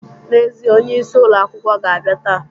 N'ezie, onyeisi ulọ akwụkwọ ga-abịa taa.